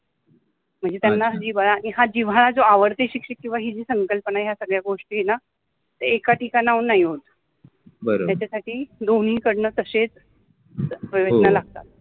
म्हनजे त्याला जिव्हाळा, आणि हा जिव्हाळा जो आवड्ते शिक्षक किव्वा हि जि संकल्पना आहे ह्या सगळ्या गोष्टी आहे न ते एका ठिकाणाहुन नाहि होत बरोबर आहे, त्याच्यासाठि दोन्हिकडन तशेच प्रयत्न लागतात.